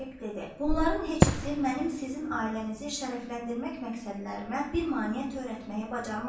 Bunların heç birisi mənim sizin ailənizi şərəfləndirmək məqsədlərimə bir maneə törətməyə bacarmaz.